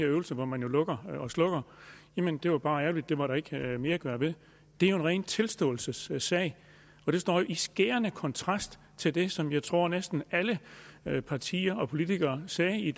øvelse hvor man jo lukker og slukker jamen det var bare ærgerligt det var der ikke mere at gøre ved det er jo en ren tilståelsessag og det står i skærende kontrast til det som jeg tror at næsten alle partier og politikere sagde i